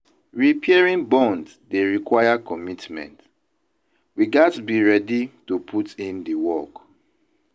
Repairing bonds dey require commitment; we gats be ready to put in the work.